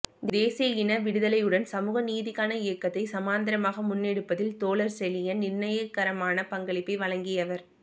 தேசிய இன விடுதலையுடன் சமூக நீதிக்கான இயக்கத்தை சமாந்தரமாக முன்னெடுப்பதில் தோழர் செழியன் நிர்ணயகரமான பங்களிப்பை வழங்கியவர்